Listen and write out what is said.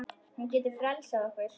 Hún getur frelsað okkur.